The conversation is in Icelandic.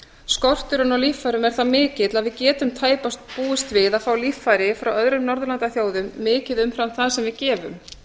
skorturinn á líffærum er það mikill að við getum tæpast búist við að fá líffæri frá öðrum norðurlandaþjóðum mikið umfram það sem við gefum